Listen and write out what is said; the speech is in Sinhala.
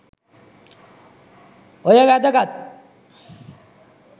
ඔය වැදගත්